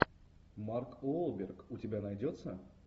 марк уолберг у тебя найдется